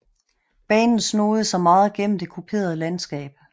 Banen snoede sig meget gennem det kuperede landskab